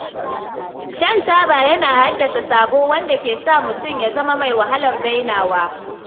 Shan taba yana haddasa sabo wanda ke sa mutum ya zama mai wahalar dainawa.